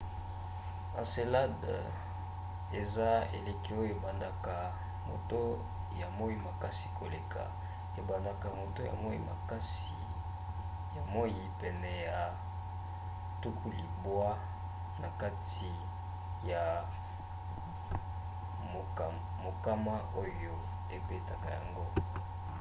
encelade eza eleki oyo ebandaka moto ya moi makasi koleka ebendaka moto ya moi pene ya 90 na kati ya mokama oyo ebetaka yango